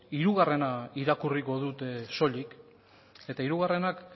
hirugarrena irakurriko dut soilik eta hirugarrenak